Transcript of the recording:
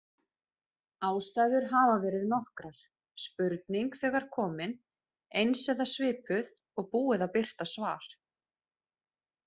Ástæður hafa verið nokkrar: Spurning þegar komin, eins eða svipuð, og búið að birta svar.